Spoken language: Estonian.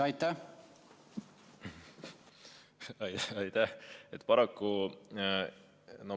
Aitäh!